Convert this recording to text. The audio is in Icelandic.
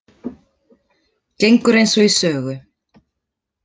Gengur eins og í sögu